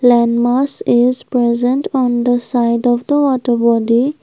landmass is present on the side of the water body.